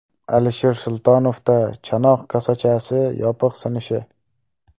Alisher Sultonovda chanoq kosachasi yopiq sinishi.